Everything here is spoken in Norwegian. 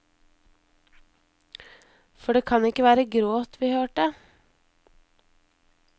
For det kan ikke være gråt vi hørte.